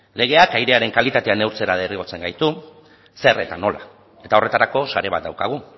legeak airearen kalitatea neurtzera derrigortzen gaitu zer eta nola eta horretarako sare bat daukagu